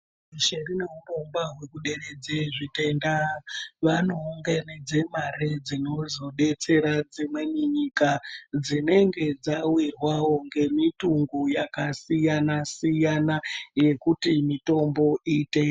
Pashi reshe rinourongwa kuderedze zvitenda vanongenedze mare dzinozodetsera dzimweni nyika dzinenge dzawirwawo ngemutungu yakasiyana siyana yekuti mitombo iite.